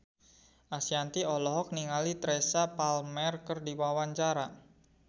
Ashanti olohok ningali Teresa Palmer keur diwawancara